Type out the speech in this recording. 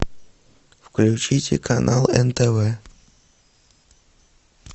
включите канал нтв